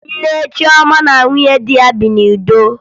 Nne Chioma na nwunye di ya bi n'udo